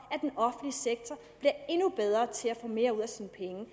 at endnu bedre til at få mere ud af sine penge